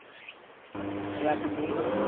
Rasmeet